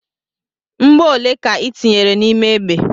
Mgbọ ole ka ị tinyere n'ime egbe?